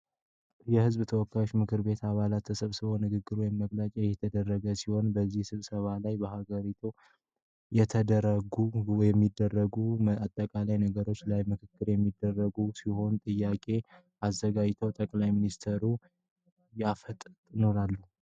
የህዝብ ተወካዮች ምክር ቤት አባላትን ተሰብስበው ንግግር ወይም መግለጫ እየተደረገለኛው ሲሆን በዚህ ስብሰባ ላይ በሃገሪቱ እየተደረጉ የሚገኙ አጠቃላይ ነገሮች ላይ ምክክር እሚያደርጉ ሲሆን ጥያቄም አዘጋጅተው ጠቅላይ ሚኒስትሩን ያፋጥጡጣል ።